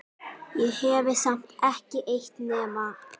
Ég hefi samt ekki eytt nema